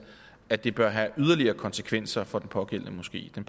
at det bør have yderligere konsekvenser for den pågældende moské der